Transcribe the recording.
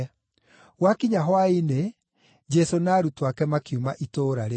Gwakinya hwaĩ-inĩ, Jesũ na arutwo ake makiuma itũũra rĩu.